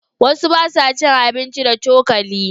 Wasu ba sa cin abinci da cokali.